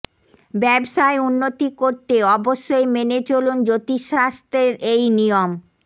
ব্যবসায় উন্নতি করতে অবশ্যই মেনে চলুন জ্যোতিষ শাস্ত্রের এই নিয়ম